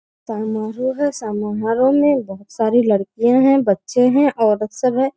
समारोह है समारोह में बहुत सारी लड़कियाँ हैं बच्चे हैं औरत सब है।